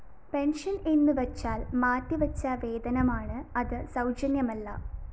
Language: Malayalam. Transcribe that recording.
പെൻഷൻ എന്നു വച്ചാൽ മാറ്റി വച്ച വേതനമാണ് അത് സൗജന്യമല്ല